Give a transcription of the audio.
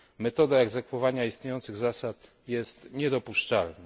Metoda egzekwowania istniejących zasad jest niedopuszczalna.